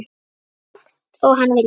Eins langt og hann vildi.